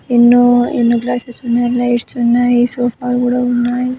ఎన్నో ఎన్నో గ్లాసెస్ ఉన్నాయి. లైట్స్ ఉన్నాయి సోఫాలు కూడా ఉన్నాయి.